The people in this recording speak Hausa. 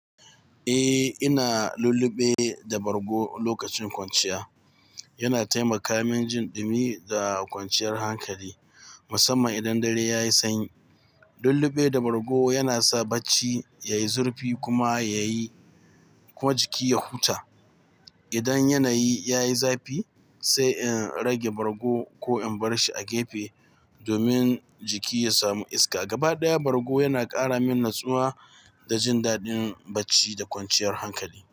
Eh, ina lulluɓe da bargo lokacin kwanciya. Yana taimaka min jin ɗumi da kwanciyar hankali, musamman idan dare ya yi sanyi. Lulluɓe da bargo yana sa bacci ya yi zurfi kuma jiki ya huta. Idan yanayi ya yi zafi, sai in rage bargo ko in bar shi a gefe domin jiki ya samu iska. Gaba ɗaya, bargo yana ƙara min natsuwa da jin daɗin bacci da kwanciyar hankali.